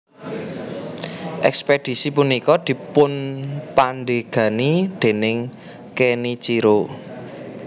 Ekspedisi punika dipunpandegani déning Kenichiro